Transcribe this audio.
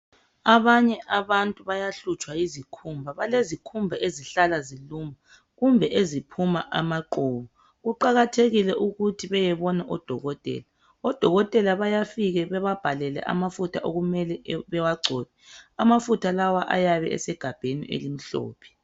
Abanye abantu bayahlutshwa yizikhumba, balezikhumba ezihlala zinuka kumbe eziphuma amaqhubu kuqakathekile ukuthi bayebona odokotela. Odokotela bayafika bababhalele amafutha okumele bawagcobe. Amafutha lawa ayabe esegabheni elimhlophe .